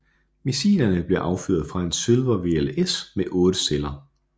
Missilerne bliver affyret fra en Sylver VLS med 8 celler